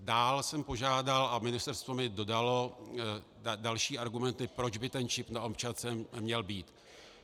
Dále jsem požádal, a ministerstvo mi dodalo další argumenty, proč by ten čip na občance měl být.